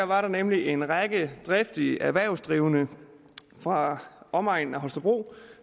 var der nemlig en række driftige erhvervsdrivende fra omegnen af holstebro